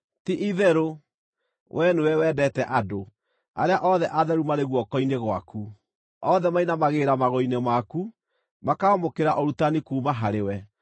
Ti-itherũ wee nĩwe wendete andũ; arĩa othe atheru marĩ guoko-inĩ gwaku. Othe mainamagĩrĩra magũrũ-inĩ maku, makaamũkĩra ũrutani kuuma harĩwe,